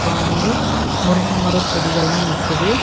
அங்க வந்து முருங்க மரோ செடிகல்லா நிக்குது.